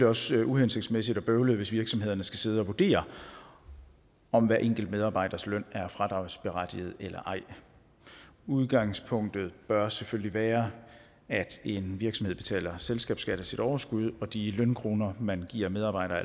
også uhensigtsmæssigt og bøvlet hvis virksomhederne skal sidde og vurdere om hver enkelt medarbejders løn er fradragsberettiget eller ej udgangspunktet bør selvfølgelig være at en virksomhed betaler selskabsskat af sit overskud og de lønkroner man giver medarbejderne